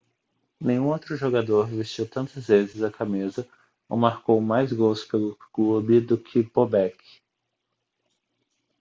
nenhum outro jogador vestiu tantas vezes a camisa ou marcou mais gols pelo clube do que bobek